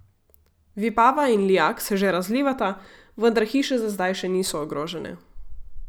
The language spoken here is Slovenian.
Vipava in Lijak se že razlivata, vendar hiše za zdaj še niso ogrožene.